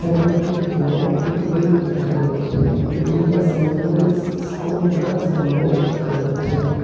এখানে একটি বড় বিল্ডিং দেখা যাচ্ছে বিল্ডিং য়ে সেন্ট মেরি ইস স্কুল লেখা সাইন বোর্ড দেখা যাচ্ছে।